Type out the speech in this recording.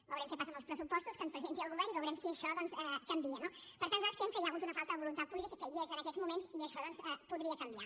veurem què passa amb els pressupostos que ens presenti el govern i veurem si això doncs canvia no per tant nosaltres creiem que hi ha hagut una falta de voluntat política que hi és en aquests moments i això doncs podria canviar